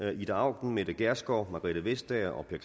og ida auken mette gjerskov margrethe vestager og per